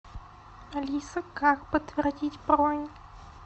алиса как подтвердить бронь